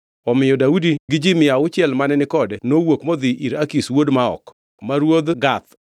Omiyo Daudi gi ji mia auchiel mane ni kode nowuok modhi ir Akish wuod Maok ma ruodh Gath.